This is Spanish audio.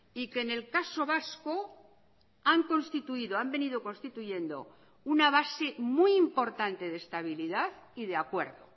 y que en el caso vasco han constituido han venido constituyendo una base muy importante de estabilidad y de acuerdo